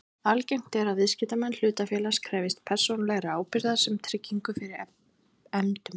Algengt er að viðskiptamenn hlutafélags krefjist persónulegrar ábyrgðar sem tryggingu fyrir efndum.